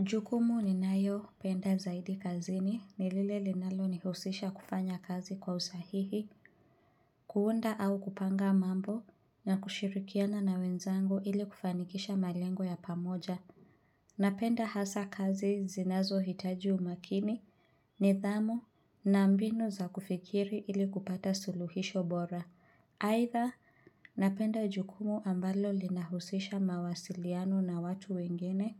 Jukumu ni nayo penda zaidi kazini nilile linalo nihusisha kufanya kazi kwa usahihi kuunda au kupanga mambo na kushirikiana na wenzangu ili kufanikisha malengo ya pamoja Napenda hasa kazi zinazo hitaji umakini ni dhamu na mbinu za kufikiri ili kupata suluhisho bora Haitha, napenda jukumu ambalo lina husisha mawasiliano na watu wengine